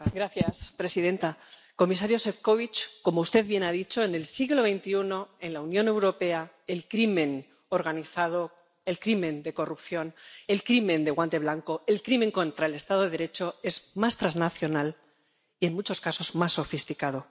Señora presidenta, comisario Šefčovič, como usted bien ha dicho, en el siglo XXI, en la Unión Europea, el crimen organizado, el crimen de corrupción, el crimen de guante blanco, el crimen contra el estado de Derecho es más transnacional y, en muchos casos, más sofisticado.